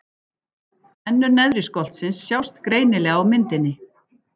Tennur neðri skoltsins sjást greinilega á myndinni.